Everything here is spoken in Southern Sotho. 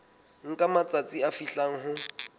nka matsatsi a fihlang ho